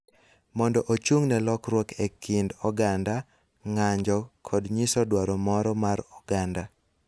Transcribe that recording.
mondo ochung� ne lokruok e kind oganda, ng�anjo kod nyiso dwaro moro mar oganda.